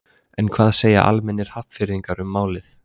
En hvað segja almennir Hafnfirðingar um málið?